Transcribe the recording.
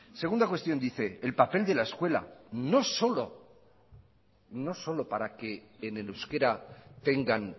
segunda cuestión dice el papel de la escuela no solo para que en el euskera tengan